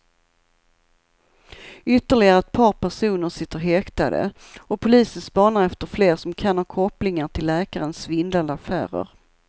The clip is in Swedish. Ytterligare ett par personer sitter häktade och polisen spanar efter fler som kan ha kopplingar till läkarens svindlande affärer.